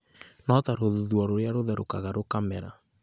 no ta rũthuthuũ rũrĩa rũtherũkaga rũkamera.